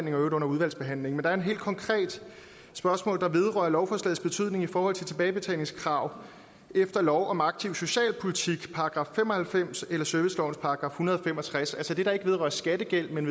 øvrigt under udvalgsbehandlingen er et helt konkret spørgsmål der vedrører lovforslagets betydning i forhold til tilbagebetalingskrav efter lov om aktiv social politik § fem og halvfems eller servicelovens § en hundrede og fem og tres altså det der ikke vedrører skattegæld men